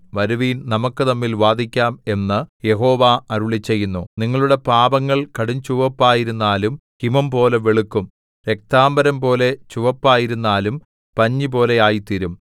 വരുവിൻ നമുക്കു തമ്മിൽ വാദിക്കാം എന്നു യഹോവ അരുളിച്ചെയ്യുന്നു നിങ്ങളുടെ പാപങ്ങൾ കടുംചുവപ്പായിരുന്നാലും ഹിമംപോലെ വെളുക്കും രക്താംബരംപോലെ ചുവപ്പായിരുന്നാലും പഞ്ഞിപോലെ ആയിത്തീരും